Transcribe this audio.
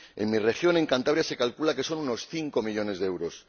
En mi región, en Cantabria, se calcula que son unos 5 millones de euros.